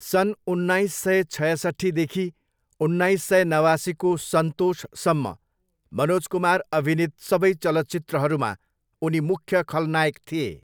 सन् उन्नाइस सय छयसट्ठीदेखि उन्नाइस सय नवासीको सन्तोषसम्म मनोज कुमार अभिनीत सबै चलचित्रहरूमा उनी मुख्य खलनायक थिए।